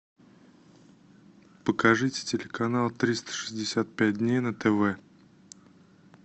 покажите телеканал триста шестьдесят пять дней на тв